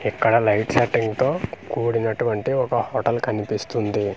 ఇక్కడ light setting తో కూడినటువంటి ఒక హోటల్ కనిపిస్తుంది.